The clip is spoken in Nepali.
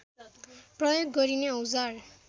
प्रयोग गरिने औजार